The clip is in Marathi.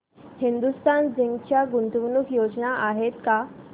हिंदुस्तान झिंक च्या गुंतवणूक योजना आहेत का